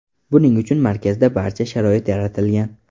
Buning uchun markazda barcha sharoit yaratilgan.